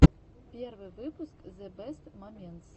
первый выпуск зэ бэст моментс